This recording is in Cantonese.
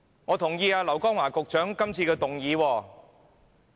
我支持劉江華局長今次的議案。